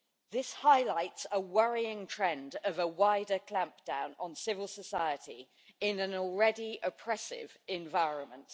This highlights a worrying trend of a wider clampdown on civil society in an already oppressive environment.